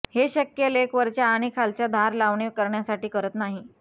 हे शक्य लेख वरच्या आणि खालच्या धार लावणे करण्यासाठी करत नाही